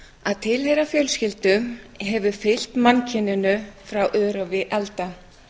að tilheyra fjölskyldu hefur fylgt mannkyninu frá örófi alda